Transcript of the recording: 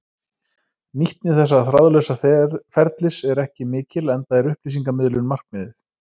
Nýtni þessa þráðlausa ferlis er ekki mikil enda er upplýsingamiðlun markmiðið.